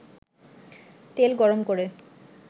তেল গরম করে